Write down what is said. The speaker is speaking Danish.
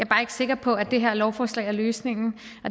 bare ikke sikker på at det her lovforslag er løsningen